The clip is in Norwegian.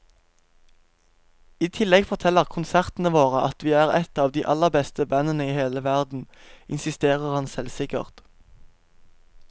I tillegg forteller konsertene våre at vi er et av de aller beste bandene i hele verden, insisterer han selvsikkert.